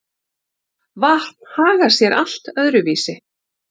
Vatn hagar sé allt öðru vísi.